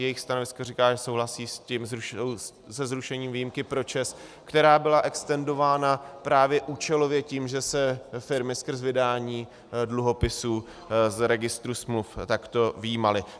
Jejich stanovisko říká, že souhlasí se zrušením výjimky pro ČEZ, která byla extendována právě účelově tím, že se firmy skrz vydání dluhopisů z registru smluv takto vyjímaly.